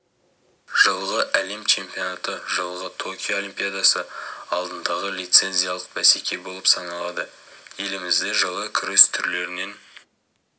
жылғы әлем чемпионаты жылғы токио олимпиадасы алдындағы лицензиялық бәсеке болып саналады елімізде жылы күрес түрлерінен